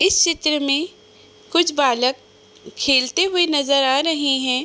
इस चित्र में कुछ बालक खेलते हुए नज़र आ रहे हैं ।